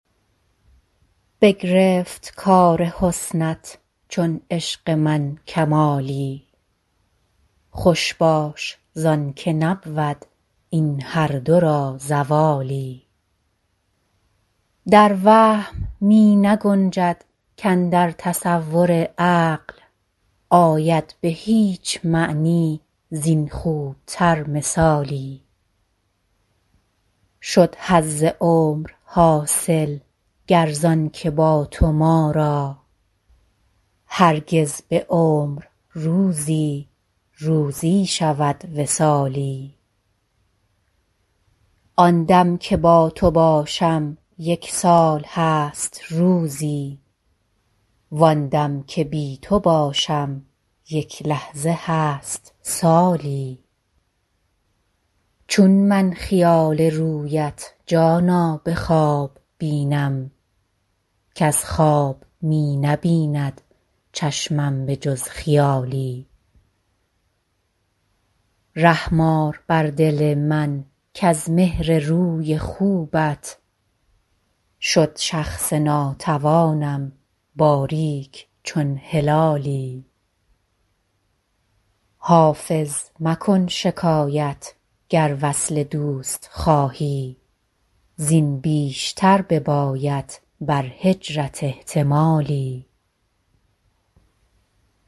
بگرفت کار حسنت چون عشق من کمالی خوش باش زان که نبود این هر دو را زوالی در وهم می نگنجد کاندر تصور عقل آید به هیچ معنی زین خوب تر مثالی شد حظ عمر حاصل گر زان که با تو ما را هرگز به عمر روزی روزی شود وصالی آن دم که با تو باشم یک سال هست روزی وان دم که بی تو باشم یک لحظه هست سالی چون من خیال رویت جانا به خواب بینم کز خواب می نبیند چشمم به جز خیالی رحم آر بر دل من کز مهر روی خوبت شد شخص ناتوانم باریک چون هلالی حافظ مکن شکایت گر وصل دوست خواهی زین بیشتر بباید بر هجرت احتمالی